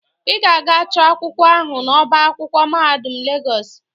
Ị ga-aga chọ akwụkwọ ahụ n'ọba akwụkwọ mahadum Legọs